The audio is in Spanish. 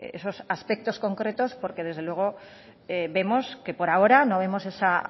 esos aspectos concretos porque desde luego vemos que por ahora no vemos esa